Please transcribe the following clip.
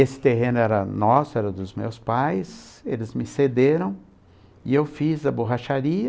Esse terreno era nosso, era dos meus pais, eles me cederam e eu fiz a borracharia.